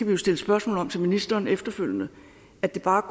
jo stille spørgsmål om til ministeren efterfølgende at det bare